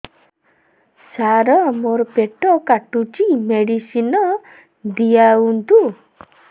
ସାର ମୋର ପେଟ କାଟୁଚି ମେଡିସିନ ଦିଆଉନ୍ତୁ